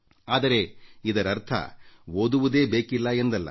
ಆದರೆ ಇದರರ್ಥ ಓದುವುದೇ ಬೇಡ ಎಂದಲ್ಲ